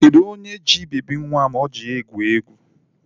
Kedu onye ji bebi nwa m o ji egwu egwuregwu?